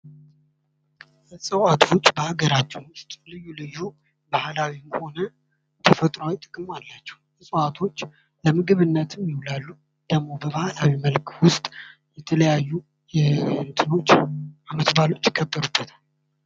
እፅዋቶች በአገራችን ውስጥ ልዩ ልዩ ባህላዊም ሆነ ተፈጥሮአዊ ጥቅም አላቸው። እፅዋቶች ለምግብነትም ይውላሉ። ደግሞ ባህላዊ መልክ ውስጥ የተለያዩ ዓመት ባሎች ይከበሩበታል።